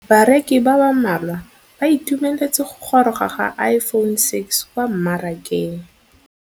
Bareki ba ba malwa ba ituemeletse go gôrôga ga Iphone6 kwa mmarakeng.